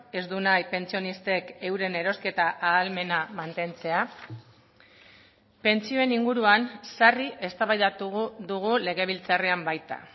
ez du nahi pentsionistek euren erosketa ahalmena mantentzea pentsioen inguruan sarri eztabaidatu dugu legebiltzarrean baita